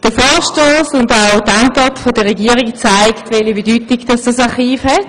Der Vorstoss und auch die Antwort der Regierung zeigen, welche Bedeutung dieses Archiv hat;